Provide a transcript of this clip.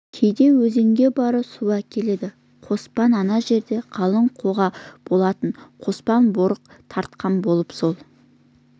кейде өзенге барып су әкеледі қоспан ана жерде қалың қоға болатын қоспан борық тартқан болып сол